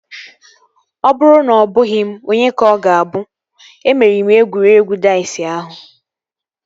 Ọ bụrụ na ọbụghị m onye ka ọ ga-abụ? Emeriri m egwuregwu daiz ahụ